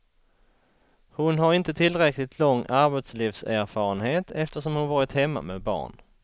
Hon har inte tillräckligt lång arbetslivserfarenhet eftersom hon varit hemma med barn.